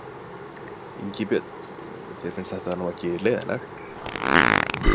Ingi Björn, þér finnst þetta nú ekki leiðinlegt?